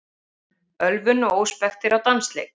Ölvun og óspektir á dansleik